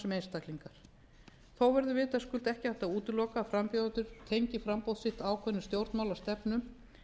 sem einstaklingar þó verður vitaskuld ekki hægt að útiloka að frambjóðendur tengi framboð sitt ákveðnum stjórnmálastefnum